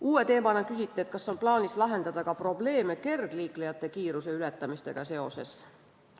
Uue teemana küsiti, kas on plaanis lahendada ka kergliiklejate kiiruse ületamisega tekkivaid probleeme.